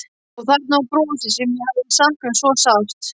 Og þarna var brosið sem ég hafði saknað svo sárt.